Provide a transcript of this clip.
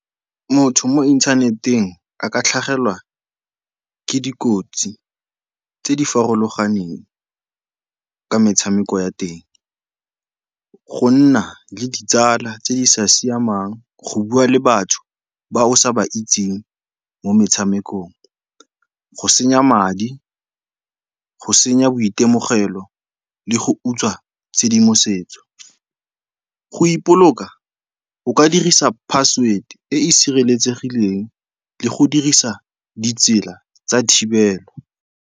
Motho mo inthaneteng a ka tlhagelwa ke dikotsi tse di farologaneng ka metshameko ya teng, go nna le ditsala tse di sa siamang, go bua le batho ba o sa ba itseng mo metshamekong, go senya madi, go senya boitemogelo le go utswa tshedimosetso. Go ipoloka, o ka dirisa password e e sireletsegileng le go dirisa ditsela tsa thibelo.